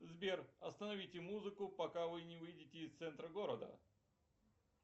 сбер остановите музыку пока вы не выйдете из центра города